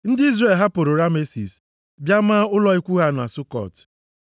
Ndị Izrel hapụrụ Ramesis, bịa maa ụlọ ikwu ha na Sukọt.